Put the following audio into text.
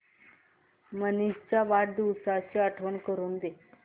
मनीष च्या वाढदिवसाची आठवण करून दे